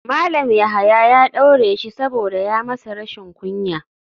Malam yahaya ya daure shi saboda ya masa rashin kunya.